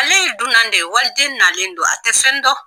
Ale ye dunnan de ye waliden nalen do a tɛ fɛn dɔn.